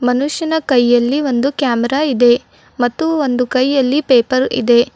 ಮನುಷ್ಯನ ಕೈಯಲ್ಲಿ ಒಂದು ಕ್ಯಾಮೆರಾ ಇದೆ ಮತ್ತು ಒಂದು ಕೈಯಲ್ಲಿ ಪೇಪರ್ ಇದೆ.